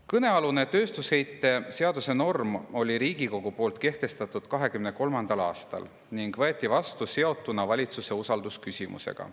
Kõnealuse tööstusheite seaduse normi kehtestas Riigikogu 2023. aastal ning see võeti vastu seotuna valitsuse usalduse küsimusega.